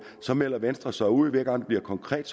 melder venstre sig ud hver gang det bliver konkret